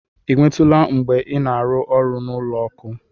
Ị nwetụla mgbe ị na-arụ ọrụ n'ụlọ ọkụ?